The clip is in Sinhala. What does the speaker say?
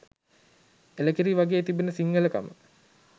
එළකිරි වගෙ තිබෙන සිංහලකම